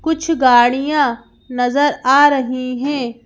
कुछ गाड़ियाँ नजर आ रही हैं।